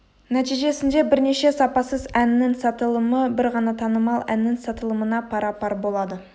нәтижесінде бірнеше сапасыз әннің сатылымы бір ғана танымал әннің сатылымына пара-пар болады